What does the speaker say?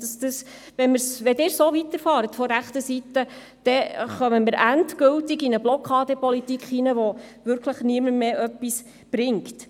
Wenn Sie von der rechten Seite so weiterfahren, kommen wir endgültig in eine Blockadenpolitik rein, die wirklich niemandem mehr etwas bringt.